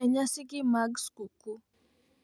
E nyasigi mag skuku.